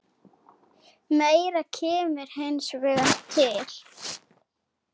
Meira kemur hins vegar til.